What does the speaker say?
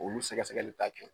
Olu sɛkɛsɛkɛli ta kɛ.